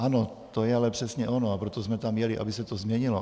Ano, to je ale přesně ono, a proto jsme tam jeli, aby se to změnilo.